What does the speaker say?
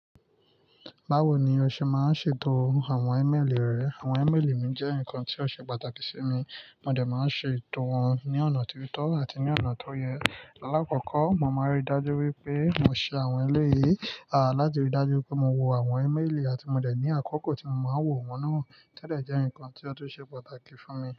Báwo ni o ṣe máa ń ṣètò àwọn email rẹ? Àwọn email mi jẹ́ nǹkan tí ó ṣe pàtàkì sí mi, mo dẹ̀ máa n ṣe ètò wọn ní ọ̀nà tó yẹ àti ní ọ̀nà tó yẹ. Láàkọ́kọ́, mo máa n ríi dájú wípé mo ṣe àwọn eleyi láti ríi dájú pé mo wo àwọn email àti mo jẹ̀ ní àkókò tí mo máa wò wọn náà. Tẹ́ẹ̀dẹ̀ jẹ́ eǹikan tí ó tún ṣe pàtàkì fún mi.